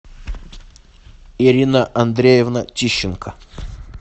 ирина андреевна тищенко